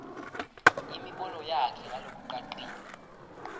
imibono yakhe ngalokucacile